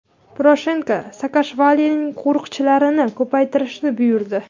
Poroshenko Saakashvilining qo‘riqchilarini ko‘paytirishni buyurdi.